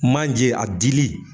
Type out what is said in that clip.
Manje a dili